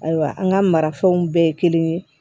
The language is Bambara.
Ayiwa an ka marafɛnw bɛɛ ye kelen ye